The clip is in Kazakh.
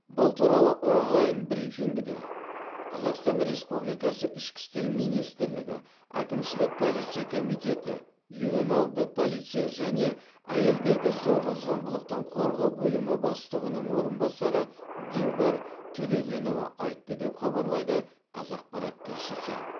бұл туралы онлайн брифингіде қазақстан республикасы ішкі істер министрлігі әкімшілік полиция комитеті ювеналды полиция және әйелдерді зорлық зомбылықтан қорғау бөлімі бастығының орынбасары дилбар төлегенова айтты деп хабарлайды қазақпарат тілшісі